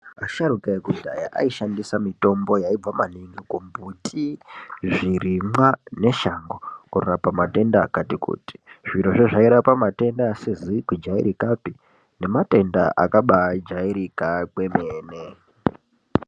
Asharuka ekudhaya aishandisa maningi mitombo yaibva kumbuti kuti zvirimwa neshango zvinorapa matenda akati kuti zvirozvi zvairapa matenda asizi jairikapi nematenda akabajairika kwemene .